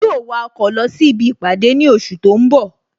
Yóó wa ọkọ̀ lọ sí ibi ìpàdé ní oṣù tó ń bọ̀